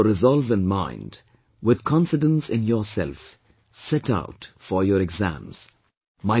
Keeping your resolve in mind, with confidence in yourself, set out for your exams